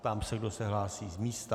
Ptám se, kdo se hlásí z místa.